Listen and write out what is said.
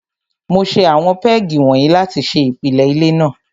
Mo ṣe àwọn pégì wọ̀nyí láti ṣe ìpìlẹ ilé náà.